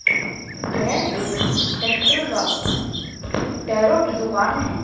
यह एक ट्रैक्टर का टायरों की दुकान है।